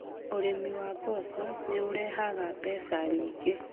Ũrĩmi wa mboco nĩ ũrehaga mbeca nyingĩ